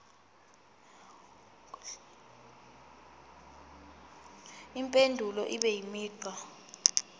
impendulo ibe imigqa